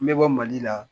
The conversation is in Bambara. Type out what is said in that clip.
N bɛ bɔ mali la